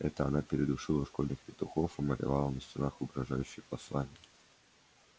это она передушила школьных петухов и малевала на стенах угрожающие послания